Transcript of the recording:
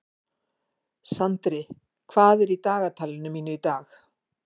Sandri, hvað er í dagatalinu mínu í dag?